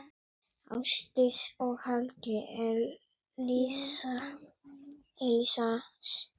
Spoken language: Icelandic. Ásdís og Helgi Elías.